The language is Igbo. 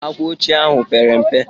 Àkwàochie ahụ pere mpe.